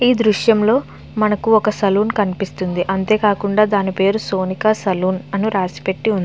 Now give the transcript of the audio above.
ఈ దృశ్యంలో మనకు ఒక సలూన్ కనిపిస్తుంది. అంతేకాకుండా దాని పేరు సోనిక సలూన్ అని రాసి పెట్టి --